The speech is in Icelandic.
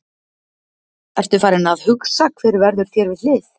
Ertu farinn að hugsa hver verður þér við hlið?